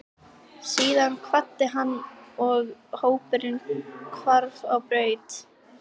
Síðan kvaddi hann og hópurinn hvarf á braut.